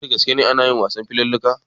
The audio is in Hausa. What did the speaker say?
Wai da gaske anayin wasan filalluka?